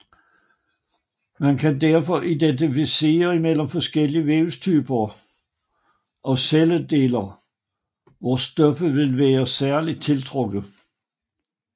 Man kan derfor differentiere imellem forskellige vævstyper og celledeler hvor stoffer ville være særligt tiltrukket